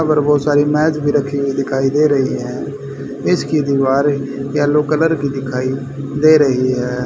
वहाँ पर बहोत सारी मेज दिखाई दे रही है। इसकी दीवारें येलो कलर की दिखाई दे रही हैं।